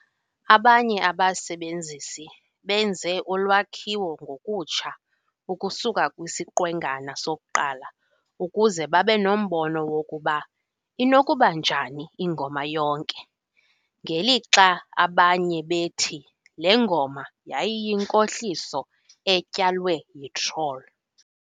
Abanye abasebenzisi benze ulwakhiwo ngokutsha ukusuka kwisiqwengana sokuqala ukuze babe nombono wokuba inokuba njani ingoma yonke, ngelixa abanye bethi le ngoma yayiyinkohliso "etyalwe yitroll".